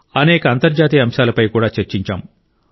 అనేక అంతర్జాతీయ అంశాలపై కూడా చర్చించాం